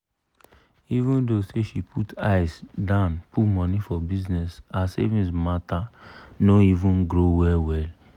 even tho say she put eye dan put money for bizness her savings matter no even grow well-well.